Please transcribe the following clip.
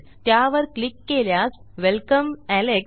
त्यावर क्लिक केल्यास welcome Alex